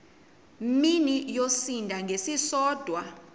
mini yosinda ngesisodwa